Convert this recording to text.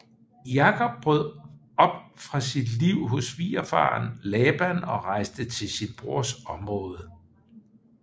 Jakob brød op fra sit liv hos svigerfaren Laban og rejste til sin brors område